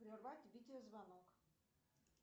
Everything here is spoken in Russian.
прервать видеозвонок